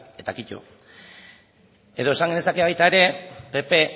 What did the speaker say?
eta kito edo esan genezake baita ere pp